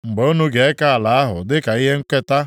“ ‘Mgbe unu ga-eke ala ahụ dịka ihe nketa,